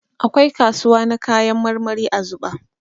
Akwai kasuwa na kayan marmari a Zuɓa.